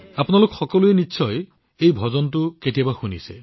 আপোনালোক সকলোৱে নিশ্চয় এই গানটো কৰবাত নহয় কৰবাত শুনিছে